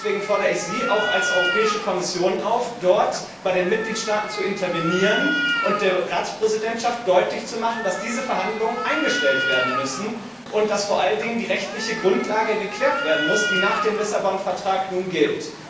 Deswegen fordere ich auch Sie als Europäische Kommission auf, in dieser Frage bei den Mitgliedstaaten zu intervenieren und der Ratspräsidentschaft deutlich zu machen, dass diese Verhandlungen eingestellt werden müssen und dass vor allen Dingen die rechtliche Grundlage geklärt werden muss, die nach dem Lissabon Vertrag nun gilt.